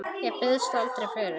Ég biðst aldrei fyrir.